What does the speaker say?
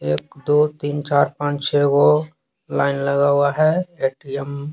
एक दो तीन- चार पांच छह लाइन लगा हुआ है एटीएम --